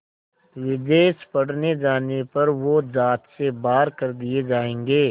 विदेश पढ़ने जाने पर वो ज़ात से बाहर कर दिए जाएंगे